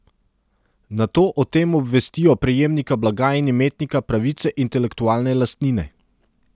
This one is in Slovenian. Nato o tem obvestijo prejemnika blaga in imetnika pravice intelektualne lastnine.